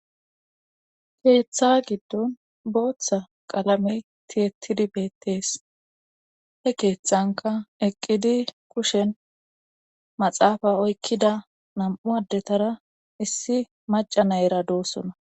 Keeththa giddon booththa qalamey tiyettidi beettees he keethanka eqqidi kushen maxaafa oykkida nam7u addetara issi maca nayera doossona.